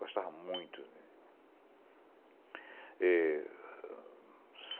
Gostava muito. E